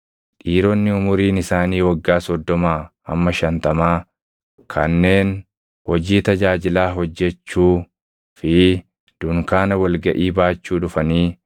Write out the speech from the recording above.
Dhiironni umuriin isaanii waggaa soddomaa hamma shantamaa kanneen hojii tajaajilaa hojjechuu fi dunkaana wal gaʼii baachuu dhufanii